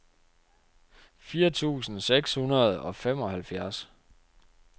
fire tusind seks hundrede og femoghalvfjerds